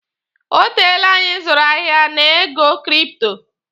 O teele anyi zụrụ ahịa na ego kripto.